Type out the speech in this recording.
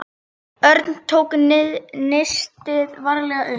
Örn tók nistið varlega upp.